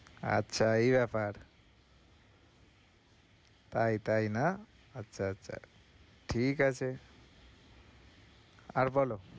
আচ্ছা, এই ব্যাপার তাই তাই না? আচ্ছা আচ্ছা ঠিক আছে আর বলো?